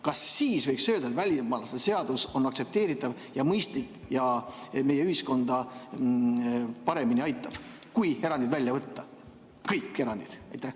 Kas siis võiks öelda, et välismaalaste seadus on aktsepteeritav ja mõistlik ja meie ühiskonda paremini aitab, kui erandid välja võtta, kõik erandid?